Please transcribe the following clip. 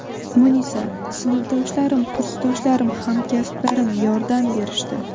Munisa: Sinfdoshlarim, kursdoshlarim, hamkasblarim yordam berishdi.